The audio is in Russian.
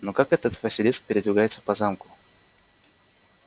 но как этот василиск передвигается по замку